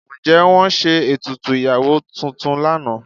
Ǹjẹ́ wọ́n ṣe ètùtù ìyàwó tuntun lánàá?